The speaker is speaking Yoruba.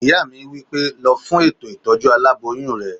Ìyá mi wí pé "lọ fún ètò ìtọ́jú aláboyún rẹ!"